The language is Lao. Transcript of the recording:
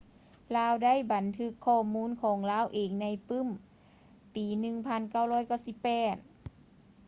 ລາວໄດ້ບັນທຶກຂໍ້ມູນຂອງລາວເອງໃນປື້ມປີ 1998